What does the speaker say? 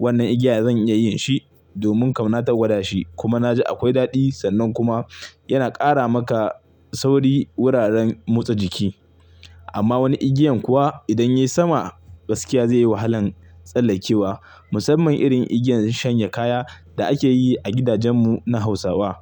Wannan igiya zan iya yin shi domin kam na tagwada shi kuma na ji akwai daɗi sannan kuma yana ƙara maka sauri wuraren motsa jiki. Amma wani igiyan kuwa idan ya yi sama gaskiya zai yi wahalan tsallakewa. Musamman irin igiyan shanye kaya da ake yi a gidajen mu na Hausawa.